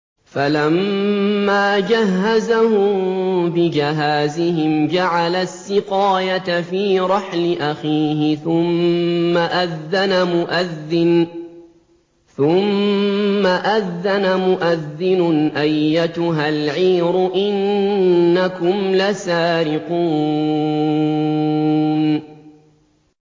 فَلَمَّا جَهَّزَهُم بِجَهَازِهِمْ جَعَلَ السِّقَايَةَ فِي رَحْلِ أَخِيهِ ثُمَّ أَذَّنَ مُؤَذِّنٌ أَيَّتُهَا الْعِيرُ إِنَّكُمْ لَسَارِقُونَ